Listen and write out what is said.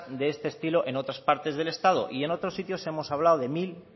de este estilo en otras partes del estado y en otros sitios hemos hablado de mil